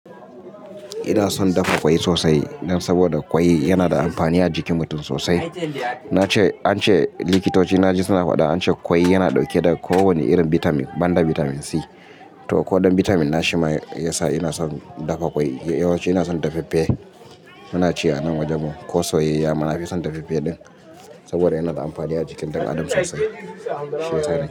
Ina son dafa ƙwai sosai, dan saboda ƙwai yana da amfani a jikin mutum sosai. An ce likitoci na ji suna faɗa an ce ƙwai yana ɗauke da kowane irin bitamin banda bitamin C. To ko dan bitamin na shima ya sa ina son dafa ƙwai. Yawanci ina son dafaffe. Muna ci a nan wajen mu, ko soyayya, muna, na fison dafaffe ɗin, saboda yana da amfani a jikin ɗan Adam sosai, shiyasa nake.